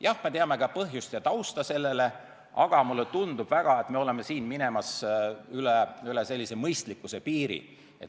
Jah, me teame ka selle põhjust ja tausta, aga mulle tundub väga, et me oleme siin minemas üle mõistlikkuse piiri.